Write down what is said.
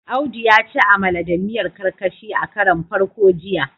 Audu ya ci amala da miyar karkashi a karon farko jiya